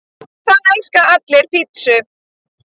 Það elska allir pizzur!